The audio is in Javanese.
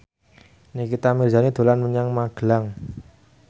Nikita Mirzani dolan menyang Magelang